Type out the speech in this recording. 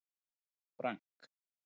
Frank